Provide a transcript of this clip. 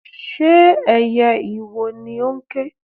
Ṣé ẹyẹ ìwò ni ó ń ké?